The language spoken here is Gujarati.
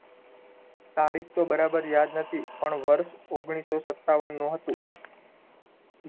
તારીખ તો બરાબર યાદ નથી પણ વર્ષ ઓગણીસો સત્તાવનનું હતું